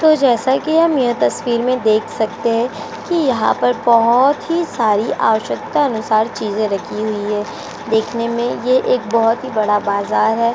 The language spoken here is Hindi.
तो जैसा कि हम यह तस्वीर में देख सकते हैं कि यहाँ पर बोहोत ही सारी आवश्यकता अनुसार चीजे रखी हुई हैं। देखने में यह एक बोहत ही बड़ा बाजार है।